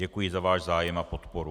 Děkuji za váš zájem a podporu.